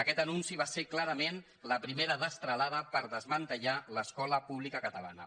aquest anunci va ser clarament la primera destralada per desmantellar l’escola pública catalana